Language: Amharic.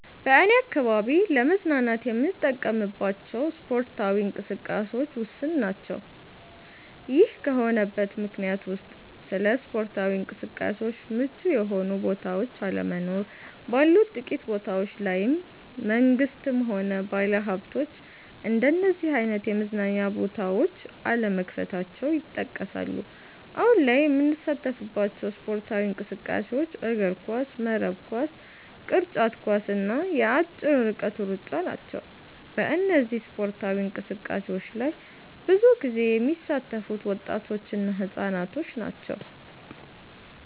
በኔ አካባቢ ለመዝናናት የምንጠቀምባቸው ስፓርታዊ እንቅስቃሴዎች ውስን ናቸ። ይሄ ከሆነበት ምክንያቶች ውስጥ ለስፓርታዊ እንቅስቃሴዎች ምቹ የሆኑ ቦታዎች አለመኖር፣ ባሉት ጥቂት ቦታዎች ላይም መንግስትም ሆነ ባለሀብቶች እንደነዚህ አይነት የመዝናኛ ቦታዎች አለመክፈታቸው ይጠቀሳሉ። አሁን ላይ የምንሳተፍባቸው ስፖርታዊ እንቅስቃሴዎች እግርኳስ፣ መረብ ኳስ፣ ቅርጫት ኳስ እና የአጭር ርቀት ሩጫ ናቸው። በእነዚህ ስፓርታዊ እንቅስቃሴዎች ላይ ብዙ ጊዜ የሚሳተፉት ወጣቶች እና ህፃናት ናቸው።